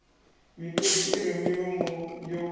miṱodzi i re milomo yo